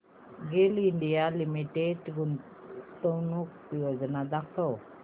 गेल India Limited गुंतवणूक योजना दाखव